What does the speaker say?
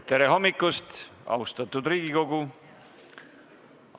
Tere hommikust, austatud Riigikogu!